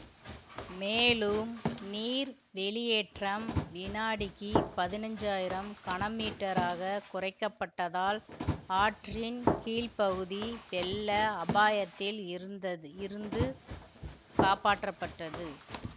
மேலும் நீர் வெளியேற்றம் வினாடிக்கு பதினஞ்சாயிரம் கன மீட்டராக குறைக்கப்பட்டதால் ஆற்றின் கீழ்பகுதி வெள்ள அபாயத்தில் இருந்தது இருந்து காப்பாற்றப்பட்டது